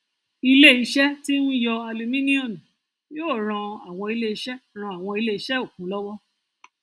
iléiṣẹ tí ń yọ alumíníọmù yóò ràn àwọn iléiṣẹ ràn àwọn iléiṣẹ okùn lọwọ